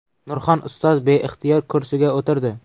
Nurxon ustoz beixtiyor kursiga o‘tirdi.